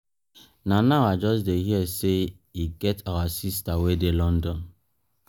na now i just dey hear say e get our sister wey dey london